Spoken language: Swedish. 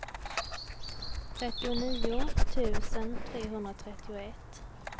trettionio tusen trehundratrettioett